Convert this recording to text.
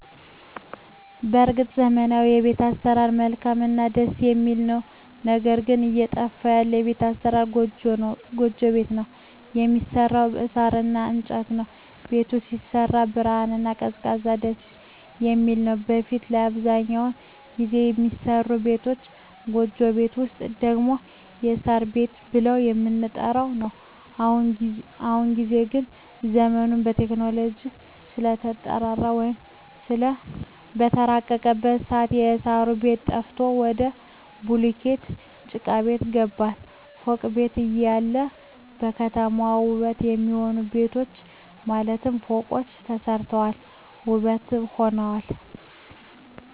በርግጥ ዘመናዊዉ የቤት አሰራር መልካምእና ደስ የሚል ነዉ ነገር ግን እየጠፋ ያለ የቤት አሰራር ጎጆ ቤት ነዉ የሚሰራዉም በሳር እና በእንጨት ነዉ ቤቱም ሲሰራ ብርሃናማ እና ቀዝቃዛም ደስየሚል ነዉ በፊት ላይ አብዛኛዉን ጊዜ የሚሰሩ ቤቶች ጎጆ ቤት ወይም ደግሞ የሳር ቤት ብለን የምንጠራዉ ነዉ በአሁኑ ጊዜ ግን ዘመኑም በቴክኖሎጂ ስለተራቀቀ ወይም በተራቀቀበት ሰአት የእሳሩ ቤት ጠፍቶ ወደ ቡሉኬት ጭቃቤት ገባን ፎቅ ቤት እያለ ለከተማዋ ዉበት የሚሆኑ ቤቶች ማለትም ፎቆች ተሰርተዋል ዉበትም ሆነዋል